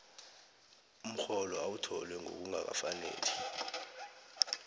umrholo owuthole ngokungakafaneli